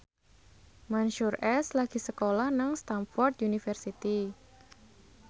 Mansyur S lagi sekolah nang Stamford University